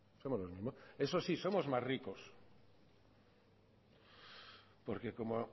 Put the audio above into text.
somos los mismos eso sí somos más ricos porque como